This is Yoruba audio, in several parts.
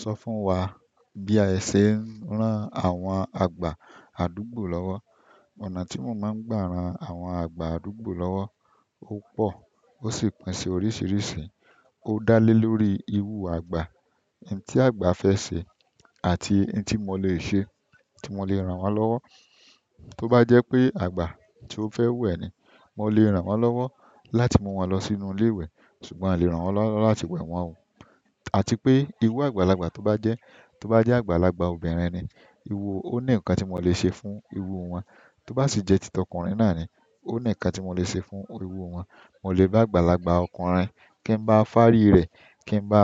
Sọ fún wa bí ẹ ṣe ń rán àwọn àgbà àdúgbò lọ́wọ́. Ọ̀nà tí mo máa ń gbà ran àwọn àgbà àdúgbò lọ́wọ́ ó pọ̀ ó sì pín sí oríṣiríṣi. Ó dá lé lórí iru àgbà, ohun tí àgbà fẹ́ ṣe àti ohun tí mo lè ṣe, tí mo lè ran wọ́n lọ́wọ́. Tó bá jẹ́ pé àgbà tí ó fẹ́ wẹ̀ ni, mo lè ran wọ́n lọ́wọ́ láti mú wọn lọ sínú ilé ìwẹ̀ ṣùgbọ́n un o lè ran wọ́n lọ́wọ́ láti wẹ̀ wọ́n wò. Atipe iru agbagbala toba jẹ, toba jẹ àgbàlagbà obìnrin ni iru, oni nǹkan ti mo le se fún iru wọn. Tó bá sì jẹ́ tì tọ́kùnrin náà ni, ó ní nǹkan tí mo lè ṣe fún irú wọn. Mo lè bá àgbàlagbà ọkùnrin kí n bá fárí rẹ̀, kí n bá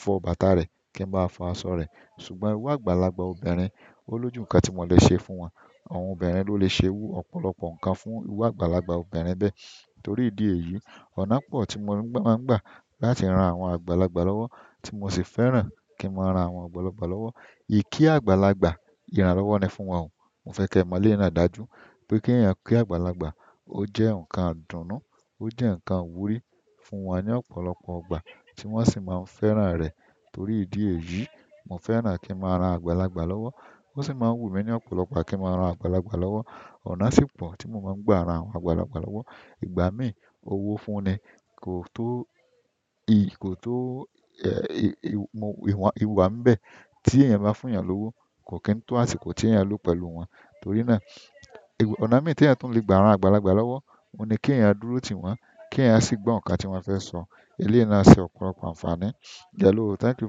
fọ bàtà rẹ̀, kí n bá fọ aṣọ rẹ̀ ṣùgbọ́n irú àgbàlagbà obìnrin, ó lójú nǹkan tí mo lè ṣe fún wọn. Àwọn obìnrin ló lè ṣe iru ọ̀pọ̀lọpọ̀ nǹkan fún irú àgbàlagbà obìnrin bẹ́ẹ̀ torí ìdí èyí. Ọ̀nà pọ̀ tí mo máa ń gbà láti ran àwọn àgbàlagbà lọ́wọ́ tí mo sì fẹ́ràn kí n máa ran àwọn àgbàlagbà lọ́wọ́. Yí kí àgbàlagbà, ìrànlọ́wọ́ ni fún wọn wò. Mo fẹ kẹ mọ eleyi náà dájú pe keeyan ki àgbàlagbà o jẹ nǹkan idunu, o jẹ nǹkan ìwúrí fún wọn ni ọ̀pọ̀lọpọ̀ ìgbà ti wọn si maa n fẹ́ràn rẹ torí idi èyí mo fẹ́ràn ki n ma ran àgbàlagbà lọwọ. Ó sì máa ń wù mí ní ọ̀pọ̀lọpọ̀ ìgbà kí n máa ran àgbàlagbà lọ́wọ́. Ọ̀nà sì pọ̀ tí mo máa ń gbà ran àwọn àgbàlagbà lọ́wọ́. Ìgbà mí, owó fún ni, kò tó iyì, kò tó, ẹ̀, i wa ń bẹ́ẹ̀ tí èèyàn bá fún èèyàn lówó, kò kí n tó àṣìko tí èèyàn lò pẹ̀lú wọn. Torí náà, ọ̀nà mii teeyan tun le gba ran àgbàlagbà lọwọ, oun ni keeyan dúró tiwọn keeyan si gbọ nǹkan tiwọn fẹ́ràn sọ. Eléyìí náà ṣe ọ̀pọ̀lọpọ̀ ànfààní. Hello, thank you.